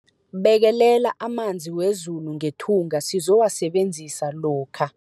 Bekelela amanzi wezulu ngethunga sizowasebenzisa lokha.